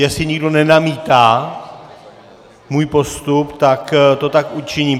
Jestli nikdo nenamítá můj postup, tak to tak učiním.